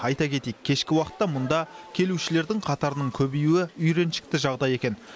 айта кетейік кешкі уақытта мұнда келушілердің қатарының көбеюі үйреншікті жағдай екен